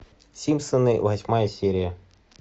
симпсоны восьмая серия